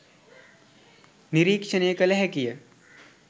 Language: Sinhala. නිරීක්‍ෂණය කළ හැකිය.